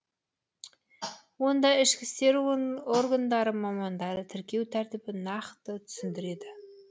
онда ішкі істер органдары мамандары тіркеу тәртібін нақты түсіндіреді